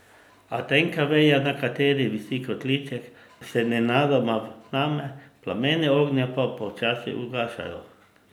A tenka veja, na kateri visi kotliček, se nenadoma vname, plameni ognja pa počasi ugašajo.